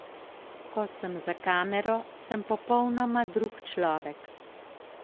Ko sem za kamero, sem popolnoma drug človek.